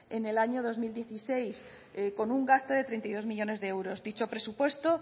en el año dos mil dieciséis con un gasto de treinta y dos millónes de euros dicho presupuesto